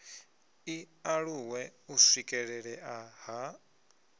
i aluwe u swikelelea ha